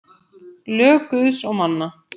Lög Guðs og manna.